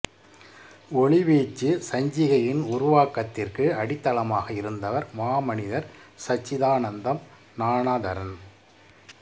ஒளிவீச்சு சஞ்சிகையின் உருவாக்கத்திற்கு அடித்தளமாக இருந்தவர் மாமனிதர் சச்சிதானந்தம் ஞானதரன்